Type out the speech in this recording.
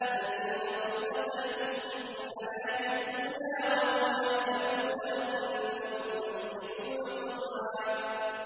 الَّذِينَ ضَلَّ سَعْيُهُمْ فِي الْحَيَاةِ الدُّنْيَا وَهُمْ يَحْسَبُونَ أَنَّهُمْ يُحْسِنُونَ صُنْعًا